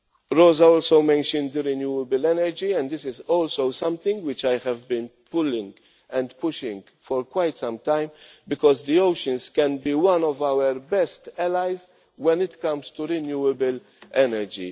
well. Rosa also mentioned renewable energy and this is also something which I have been pulling and pushing for quite some time, because the oceans can be one of our best allies when it comes to renewable energy.